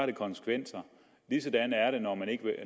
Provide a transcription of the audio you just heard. det konsekvenser